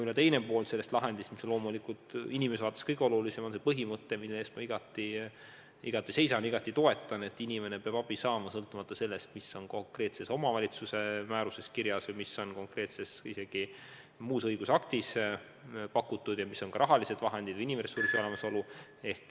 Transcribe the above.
Teine pool sellest lahendist on loomulikult inimese vaates kõige olulisem ja see on põhimõte, mille eest ma igati seisan, mida ma igati toetan: inimene peab abi saama, sõltumata sellest, mis konkreetses omavalitsuse määruses või muus õigusaktis kirjas on ja kui suured on rahalised vahendid või kas inimressurss on olemas.